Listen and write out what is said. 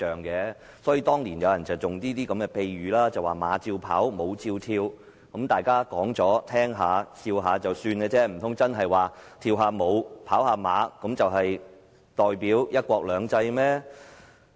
所以，當年有人用了''馬照跑，舞照跳"的比喻，大家聽了一笑，難道跳舞、賽馬就真的代表"一國兩制"嗎？